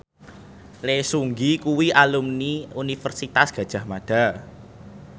Lee Seung Gi kuwi alumni Universitas Gadjah Mada